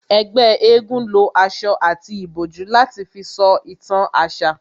Ẹgbẹ́ égún lo aṣọ àti ìbòjú láti fi sọ ìtàn àṣà